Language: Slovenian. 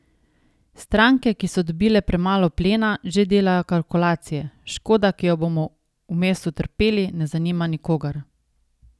Stranke, ki so dobile premalo plena, že delajo kalkulacije, škoda, ki jo bomo vmes utrpeli, ne zanima nikogar.